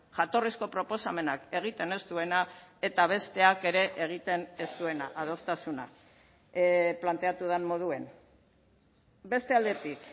jatorrizko proposamenak egiten ez duena eta besteak ere egiten ez duena adostasuna planteatu den moduan beste aldetik